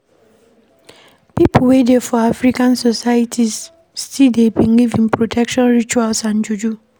Pipo wey dey for African societies still dey believe in protection rituals and juju